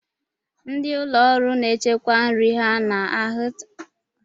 Ndị ụlọ nri na-echekwa nri ha na hita na-ahụ ụzọ.